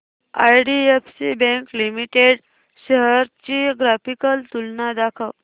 IDFC bank limited shares ची graphical तुलना दाखव